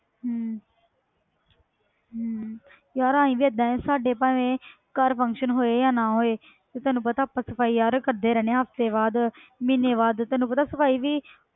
ਹਮ ਹਮ ਯਾਰ ਅਸੀਂ ਵੀ ਏਦਾਂ ਹੈ ਸਾਡੇ ਭਾਵੇਂ ਘਰ function ਹੋਏ ਜਾਂ ਨਾ ਹੋਏ ਤੇ ਤੈਨੂੰ ਪਤਾ ਆਪਾਂ ਸਫ਼ਾਈ ਯਾਰ ਕਰਦੇ ਰਹਿੰਦੇ ਹਾਂ ਹਫ਼ਤੇ ਬਾਅਦ ਮਹੀਨੇ ਬਾਅਦ ਤੈਨੂੰ ਪਤਾ ਸਫ਼ਾਈ ਵੀ